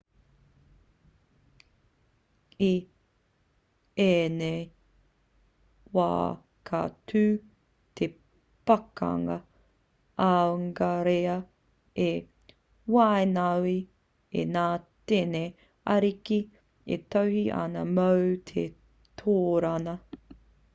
i ēnei wā ka tū te pakanga aungarea i waenganui i ngā tini ariki e tohe ana mō te torōna